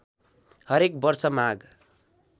हरेक वर्ष माघ